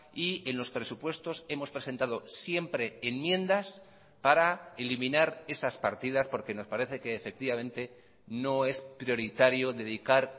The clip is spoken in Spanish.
y en los presupuestos hemos presentado siempre enmiendas para eliminar esas partidas porque nos parece que efectivamente no es prioritario dedicar